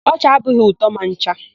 Ọchị abụghị ụtọ ma ncha.